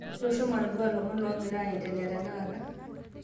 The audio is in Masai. Ntosho matodua lomon longira aendelea tenakata